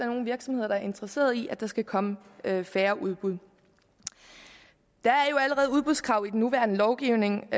nogen virksomheder der er interesseret i at der skal komme færre udbud der er jo allerede udbudskrav i den nuværende lovgivning